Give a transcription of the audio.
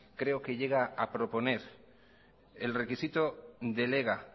creo que llega a proponer el requisito del ega